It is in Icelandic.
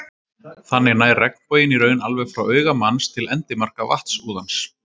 Þannig nær regnboginn í raun alveg frá auga manns til endimarka vatnsúðans.